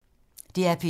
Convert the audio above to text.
DR P2